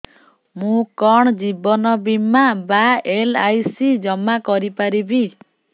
ମୁ କଣ ଜୀବନ ବୀମା ବା ଏଲ୍.ଆଇ.ସି ଜମା କରି ପାରିବି